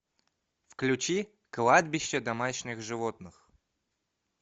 включи кладбище домашних животных